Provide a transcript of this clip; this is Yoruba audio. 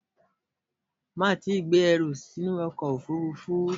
Má tíì gbé ẹrù sínú ọkọ̀ òfúrúfú!